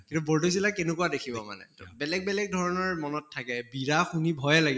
কিন্তু বৰ্দৈচিলা কেনেকুৱা দেখিব মানে, বেলেগ বেলেগ ধৰণৰ মনত থাকে বিৰা শুনি ভয়ে লাগে